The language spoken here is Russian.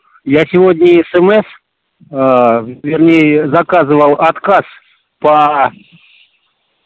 я сегодня смс а вернее заказывал отказ по